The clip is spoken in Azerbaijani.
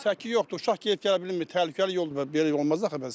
Səki yoxdur, uşaq gedib gələ bilmir, təhlükəli yoldur, belə olmaz axı bəs.